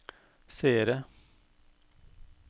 seere